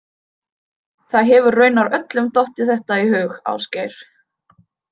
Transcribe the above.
Það hefur raunar öllum dottið þetta í hug, Ásgeir.